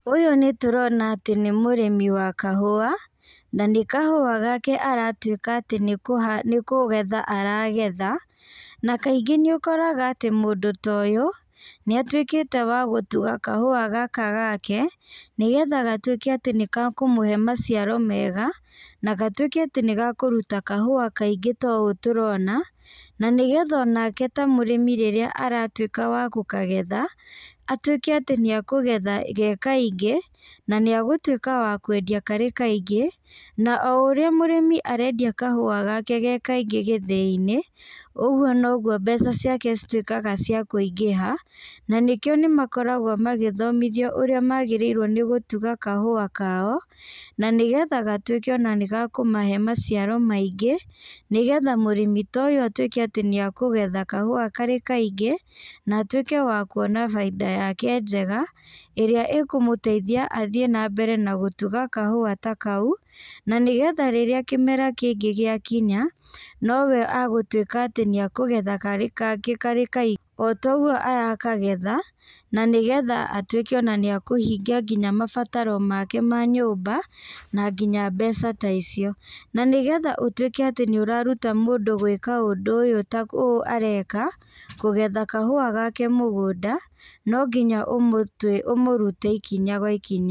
Ũyũ nĩtũrona atĩ nĩmũrĩmi wa kahũa, na nĩkahũa gake aratuĩka atĩ nĩkũha nĩkũgetha aragetha, na kaingĩ nĩũkoraga atĩ mũndũ ta ũyũ, nĩatuĩkĩte wa gũtwo kahũa gaka gake, nĩgetha gatuĩke atĩ nĩkakũmũhe maciaro mega, na gatuĩke atĩ nĩgakũruta kahũa kaingĩ ta ũũ tũrona, na nĩgetha onake ta mũrĩmi rĩrĩa aratuĩka wa gũkagetha, atuĩke atĩ nĩakũgetha ge kaingĩ, na nĩagũtuĩka wa kwendia karĩ kaingĩ, na o ũrĩa mũrĩmi arendia kahũa gake ge kaingĩ gĩthĩinĩ, ũguo noguo mbeca ciake cituĩkaga cia kũingĩha, na nĩkĩo nĩmakoragwo magĩthomithio ũrĩa magĩrĩirwo nagũtuga kahũa kao, na nĩgetha gatuĩke ona nĩgakũmahe maciaro maingĩ, nĩgetha mũrĩmi ta ũyũ atuĩke atĩ nĩakũgetha kahũa karĩ kaingĩ, na atuĩke wa kuona bainda yake njega, ĩrĩa ĩkũmũteithia athiĩ nambere na gũtuga kahũa ta kau, na nĩgetha rĩrĩa kĩmera kĩngĩ gĩakinya, no we agũtuĩka atĩ nĩakũgetha karĩ ka karĩ kaingĩ, o toguo arakagetha, na nĩgetha atuĩke ona nĩakũhingia nginya mabataro make ma nyũmba, na nginya mbeca ta icio. Na nĩgetha ũtuĩke atĩ nĩũraruta mũndũ gwĩka ũndũ ũyũ ta ũũ areka, kũgetha kahũa gake mũgũnda, no nginya ũmũtwi ũmũrute ikinya gwa ikinya.